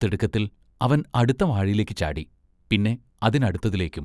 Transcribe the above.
തിടുക്കത്തിൽ അവൻ അടുത്ത വാഴയിലേക്ക് ചാടി, പിന്നെ അതിനടുത്തതിലേക്കും.